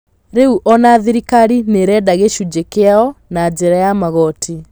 Rĩu ona thirikari nĩirenda gĩcunjĩ kĩao na njĩra ya magoti.